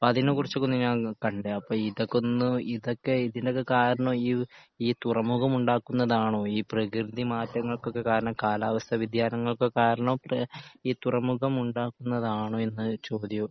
അപ്പോ അതിനെ കുറിച്ച് ഒക്കെയൊന്ന് ഞാൻ കണ്ട്‌ അപ്പോ ഇതൊക്കെ ഒന്ന് ഇതൊക്കെ ഇതിൻ്റെയൊക്കെ കാരണം ഈ ഈ തുറമുഖം ഉണ്ടാകുന്നതാണോ ഈ പ്രകൃതി മാറ്റങ്ങൾക്കൊക്കെ കാരണം കാലാവസ്ഥ വ്യതിയാനങ്ങൾക്ക് കാരണം ഈ തുറമുഖം ഉണ്ടാകുന്നതാണോ എന്ന ചോദ്യവും